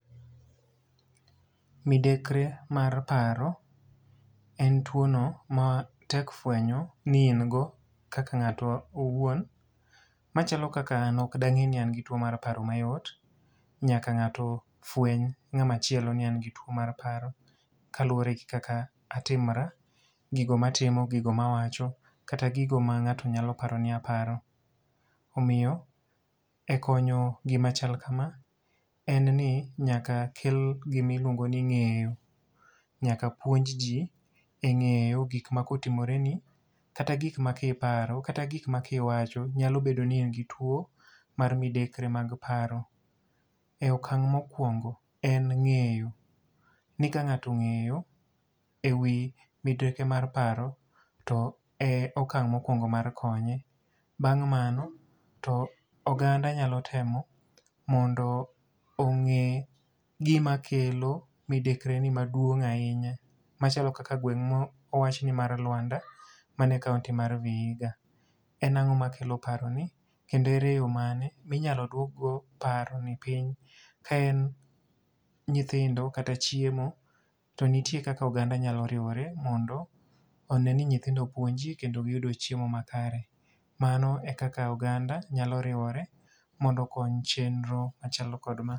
Midekre mar paro en two no ma tek fwenyo ni in go kaka ngáto owuon. Ma chalo kaka an ok da ngé ni an go two mar paro mayot. Nyaka ngáto fweny, ngáma chielo ni an gi two ma paro. Ka luwore gi kaka atimora. Gigo ma atimo, gigo ma awacho, kata gigo ma ngáto nyalo paro ni aparo. Omiyo e konyo gima chal kama, en ni nyaka kel gimi luongo ni ngéyo. Nyaka puonj ji e ngéyo gik ma kotimore ni, kata gik ma kiparo, kata gik ma kiwacho, nyalo bedo ni in gi two mar midekre mag paro. E okang' mokwingo en ngéyo, ni kangáto ongéyo e wi midekre mar paro, e okang' mokwongo mar konye. Bang' mano to oganda nyalo temo mondo ongé gima kelo midekre ni maduong' ahinya. Machalo kaka gweng' ma owach ni mar Luanda mane Kaunti mar Vihiga. En angó makelo paro ni, kendo ere yo mane ma inyalo duok go paro ni piny, ka en nyithindo kata chiemo. To nitie kaka oganda nyalo riwore mondo one ni nyithindo opuonji kando giyudo chiemo makare. Mano e kaka oganda nyalo riwore mondo okony chenro machalo kod ma.